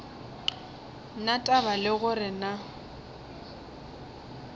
na taba le gore na